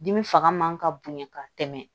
Dimi fanga man ka bonya ka tɛmɛ